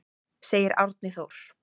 Segir Árni Þór.